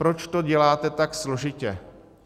Proč to děláte tak složitě?